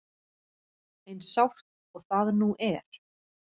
Eins sárt og það nú er.